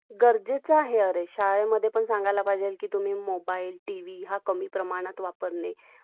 गरजेचं आहे आरे , शाळेमध्ये पण सांगायला पाहिजे कि तुम्ही मोबाईल , टीव्ही हा कमी प्रमाणात वापरणे .